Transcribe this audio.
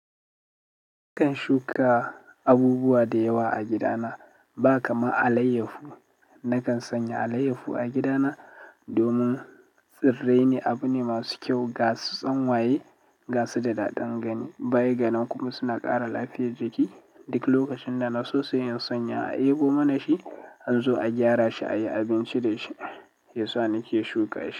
Nakan shuka abubuwa dewa a gidana ba kaman alayyahu ma nakan sanya alayyahu a gidana domin tsirrai ne abu ne masu kyau ga su da daɗin gani baigani kuma suna ƙara lafiyar jiki. Duk lokacin da na so sai in sanya a yabo mana shi, an zo a gyara shi, a yi abinci da shi, ya sa nake shuka shi.